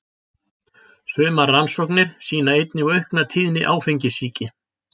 Sumar rannsóknir sýna einnig aukna tíðni áfengissýki.